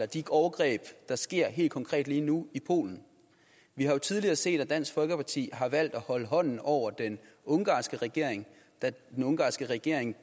de overgreb der sker helt konkret lige nu i polen vi har jo tidligere set at dansk folkeparti har valgt at holde hånden over den ungarske regering da den ungarske regering